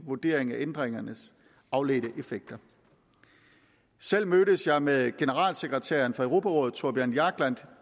vurdering af ændringernes afledte effekter selv mødtes jeg med generalsekretæren for europarådet thorbjørn jagland